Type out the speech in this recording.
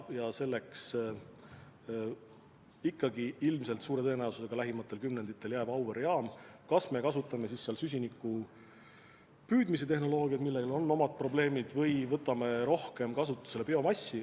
Nii et ikkagi ilmselt suure tõenäosusega lähimatel kümnenditel jääb väga tähtsaks Auvere jaam, kas me kasutame seal süsiniku püüdmise tehnoloogiat, millel on omad probleemid, või võtame rohkem kasutusele biomassi.